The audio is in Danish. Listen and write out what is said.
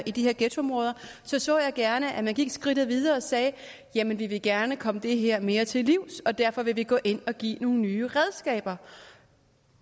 i de her ghettoområder så så jeg gerne at man gik skridtet videre og sagde jamen vi vil gerne komme det her mere til livs og derfor vil vi gå ind og give nogle nye redskaber